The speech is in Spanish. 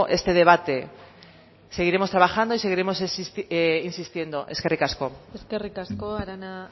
este debate seguiremos trabajando y seguiremos insistiendo eskerrik asko eskerrik asko arana